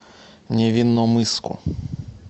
невинномысску